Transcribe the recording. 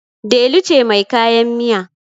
Delu cemai kaya miya